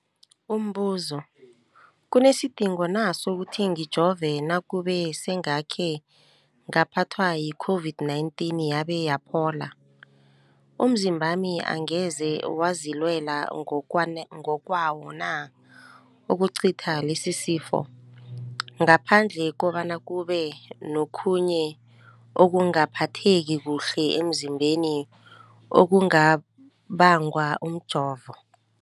Umbuzo, kunesidingo na sokuthi ngijove nakube sengakhe ngaphathwa yi-COVID-19 yabe yaphola? Umzimbami angeze wazilwela ngokwawo na ukucitha lesisifo, ngaphandle kobana kube nokhunye ukungaphatheki kuhle emzimbeni okubangwa mjovo?